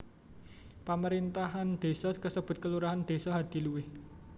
Pamerintahan désa kasebut kelurahan Desa Hadiluwih